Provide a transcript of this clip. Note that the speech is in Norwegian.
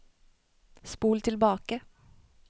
spol tilbake